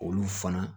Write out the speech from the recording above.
Olu fana